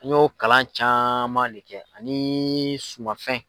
An y'o kalan caman le kɛ ani sumafɛn.